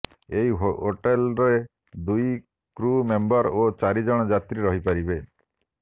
ଏହି ହୋଟେଲରେ ଦୁଇ କ୍ରୁ ମେମ୍ବର ଓ ଚାରି ଜଣ ଯାତ୍ରୀ ରହିପାରିବେ